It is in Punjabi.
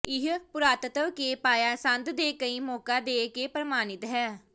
ਇਹ ਪੁਰਾਤੱਤਵ ਕੇ ਪਾਇਆ ਸੰਦ ਦੇ ਕਈ ਮੌਕਾ ਦੇ ਕੇ ਪਰ੍ਮਾਿਣਤ ਹੈ